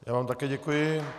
Já vám také děkuji.